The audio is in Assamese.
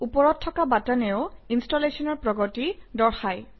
ওপৰত থকা বাটনেও ইনষ্টলেশ্যনৰ প্ৰগতি দৰ্শায়